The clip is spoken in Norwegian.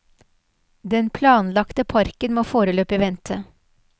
Den planlagte parken må foreløpig vente.